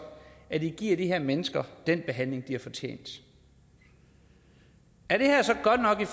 at i giver de her mennesker den behandling de har fortjent er det her så godt nok i